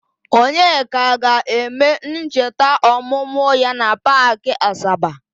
Onyeka ga-eme ncheta ọmụmụ ya na Paakị Asaba.